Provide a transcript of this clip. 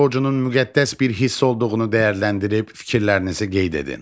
Vətən borcunun müqəddəs bir hiss olduğunu dəyərləndirib fikirlərinizi qeyd edin.